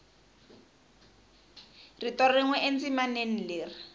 rito rin we endzimaneni leri